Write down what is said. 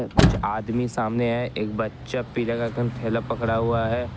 कुछ आदमी सामने है एक बच्चा पीले कलर का थैला पकड़ा हुआ है।